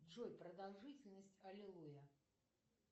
джой продолжительность аллилуйя